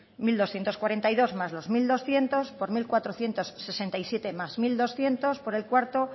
mil doscientos cuarenta y dos más los mil doscientos por mil cuatrocientos sesenta y siete más mil doscientos por el cuarto